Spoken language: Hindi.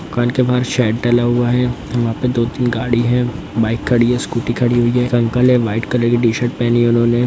दुकान के बाहर शेड डला हुआ है वहाँ पे दो-तीन गाड़ी है बाइक खड़ी है स्कूटी खड़ी हुई है अंकल है वाइट कलर की टी शर्ट पहनी है उन्होंने।